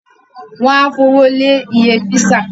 Wọ́n ó fowó lé iye písà